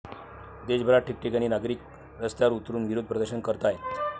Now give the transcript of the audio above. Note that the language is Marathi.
देशभरात ठिकठिकाणी नागरिक रस्त्यांवर उतरुन विरोध प्रदर्शन करतायत.